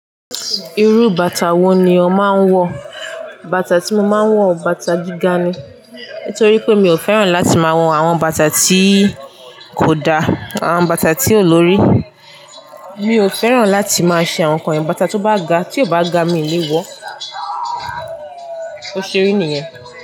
Irú bàtà wo ni ó máa ń wọ̀? Bàtà tí mo máa ń wọ̀, bàtà gíga ni. Nítorí pé mi ò fẹ́ràn láti máa wọ̀n àwọn bàtà tí kò da, àwọn bàtà tí ò lórí. Mi ò fẹ́ràn láti máa ṣe àwọn nǹkan yìí. Bàtà tó bá ga, tí ó bá ga mí léwọ́. Ó ṣeré nìyẹn.